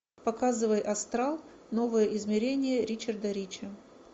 показывай астрал новое измерение ричарда рича